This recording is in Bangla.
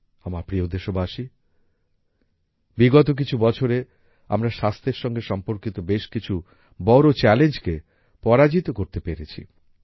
আমার প্রিয় দেশবাসী বিগত কিছু বছরে আমরা স্বাস্থ্যের সঙ্গে সম্পর্কিত বেশ কিছু বড় চ্যালেঞ্জকে পরাজিত করতে পেরেছি